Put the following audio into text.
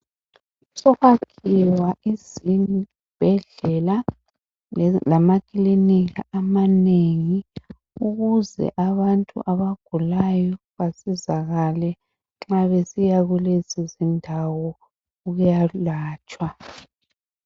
Sokwakhiwa izibhedlela lamakilinika amanengi ukuze abantu abagulayo basizakale nxa besiya kulezo zindawo ukuyalatshwa.